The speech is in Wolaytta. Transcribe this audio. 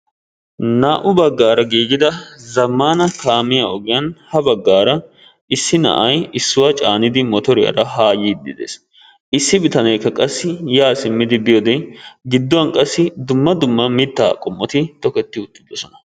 naa'u bagaara giigida zammaana kaamiya ogiyan ha bagaara issi na'ay issuwa caanidi motoriyaara haa yiidi des, issi bitanee qassi yaa simmidi biyoode giduwan qassi dumma dumma mitaa qomoti de'oosona.